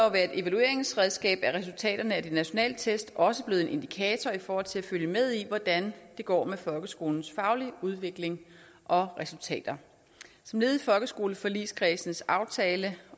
at være et evalueringsredskab er resultaterne af de nationale test også blevet en indikator i forhold til at følge med i hvordan det går med folkeskolens faglige udvikling og resultater som led i folkeskoleforligskredsens aftale